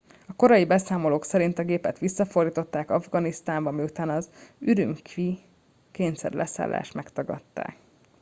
a korai beszámolók szerint a gépet visszafordították afganisztánba miután az ürümqi i kényszerleszállást megtagadták